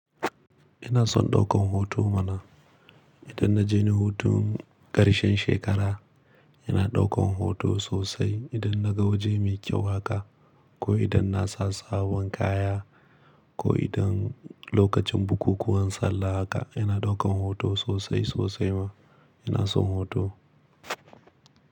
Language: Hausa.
Ina son ɗaukan hoto mana. Idan na je ni hutun ƙarshen shekara, ina ɗaukan hoto sosai. Idan na ga waje mai kyau haka ko idan na sa sabon kaya ko idan lokacin bukukuwan sallah haka, ina ɗaukan hoto sosai sosai ma. Ina son hoto.